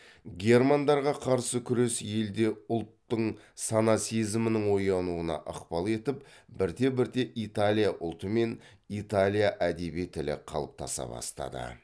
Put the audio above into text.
германдарға қарсы күрес елде ұлттың сана сезімінің оянуына ықпал етіп бірте бірте италия ұлты мен италия әдеби тілі қалыптаса бастады